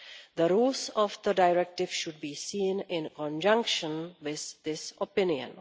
The rules of the directive should be seen in conjunction with this opinion.